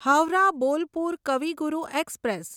Howrah Bolpur Kavi Guru express